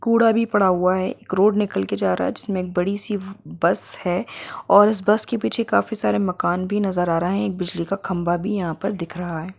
कूड़ा भी पड़ा हुआ है एक रोड निकल के जा रहा है जिसमे एक बड़ी-सी बस है और उस बस के पीछे काफी सारे मकान भी नजर आ रहा है एक बिजली का खंभा भी यहाँ पर दिख रहा है।